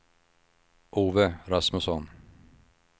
Ove Rasmusson